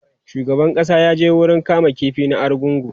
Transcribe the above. shugaban ƙasa ya je wurin kama ƙifi na argungu